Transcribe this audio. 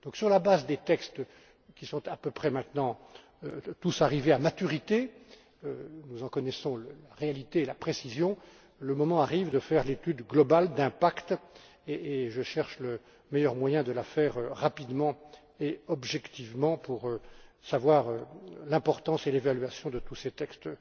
Sur la base des textes qui sont à peu près maintenant tous arrivés à maturité, nous en connaissons la réalité et la précision, le moment arrive de faire l'étude globale d'impact et je cherche le meilleur moyen de la faire rapidement et objectivement pour évaluer l'importance de tous ces textes